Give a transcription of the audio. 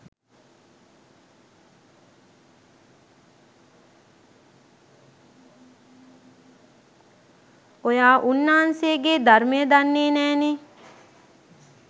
ඔයා උන්නාන්සෙගේ ධර්මය දන්නෙ නෑනෙ.